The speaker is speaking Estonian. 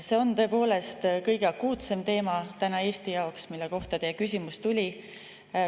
See on tõepoolest kõige akuutsem teema täna Eesti jaoks, mille kohta teie küsimus tuli.